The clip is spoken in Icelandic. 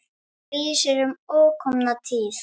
Og lýsir um ókomna tíð.